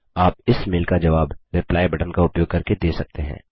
आप इस मेल का जवाब रिप्लाई बटन का उपयोग करके दे सकते हैं